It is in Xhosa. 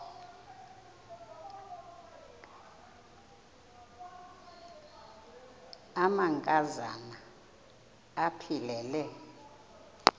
amanka zana aphilele